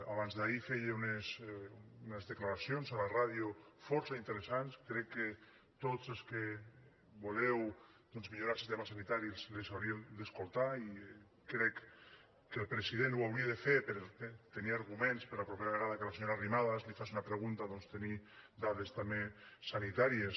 abans d’ahir feia unes declaracions a la ràdio força interessants crec que tots els que voleu millorar el sistema sanitari les hauríeu d’escoltar i crec que el president ho hauria de fer per tenir arguments per la propera vegada que la senyora arrimadas li faci una pregunta doncs tenir dades també sanitàries